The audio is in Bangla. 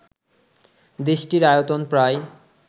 দেশটির আয়তন প্রায়